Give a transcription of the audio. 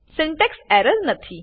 syntax error નથી